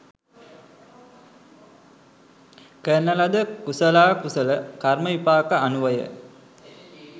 කරන ලද කුසලා කුසල කර්ම විපාක අනුවය.